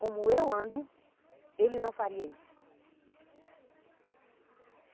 Como eu ando, ele não faria isso.